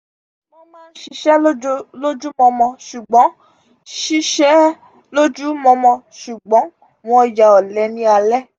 wọn má n sise lojumomo sugbon sise lojumomo sugbon wọn yà ole ni ale